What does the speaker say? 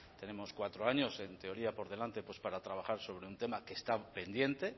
tenemos cuatro años en teoría por delante pues para trabajar sobre un tema que está pendiente